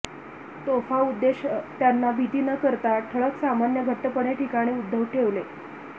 तोफा उद्देश त्यांना भीती न करता ठळक सामान्य घट्टपणे ठिकाणी उद्धट ठेवले